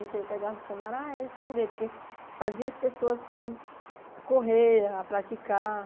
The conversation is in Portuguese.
aí eu pegava o dicionário, ah, era esconder, porque fazia as pessoas, assim, correr, praticar.